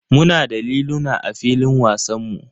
Muna da liluna a filin wasanmu.